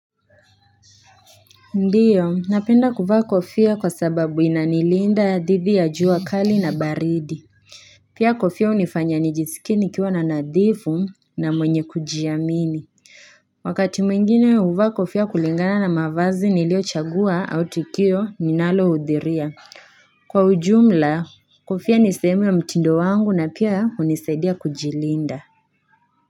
Ndiyo napenda kuvaa kofia kwa sababu inanilinda dhidhi ya juu kali na baridi Pia kofia hunifanya nijisikie nikiwa na nadhifu na mwenye kujiamini Wakati mwingine huvaa kofia kulingana na mavazi niliochagua au tukio ninalohudhiria. Kwa ujumla, kofia ni sehemu ya mtindo wangu na pia hunisaidia kujilinda.